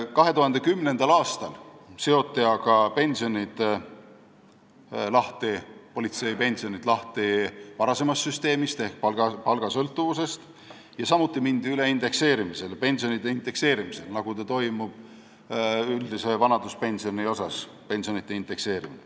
2010. aastal seoti aga politseipensionid lahti varasemast süsteemist ehk palgasõltuvusest ja mindi samuti üle pensioni indekseerimisele, nagu toimub ka üldise vanaduspensioni indekseerimine.